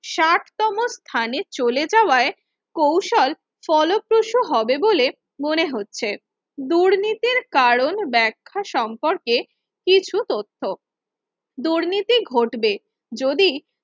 ষাট তম স্থানে চলে যাওয়ায় কৌশল ফলপ্রসাদ হবে বলে মনে হচ্ছে দুর্নীতির কারণ ব্যাখ্যা সম্পর্কে কিছু তথ্য দুর্নীতি ঘটবে যদি